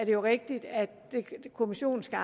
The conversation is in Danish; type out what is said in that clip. jo rigtigt at kommissionen skal